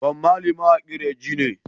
Bob Marley mawaƙin reagea ne